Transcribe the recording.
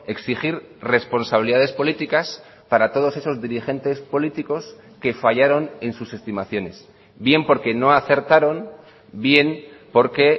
exigir responsabilidades políticas para todos esos dirigentes políticos que fallaron en sus estimaciones bien porque no acertaron bien porque